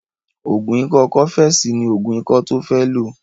Ògùn ikọ́ cọ́fẹ̀sì ní ògùn ikọ́ tó fẹ́ lò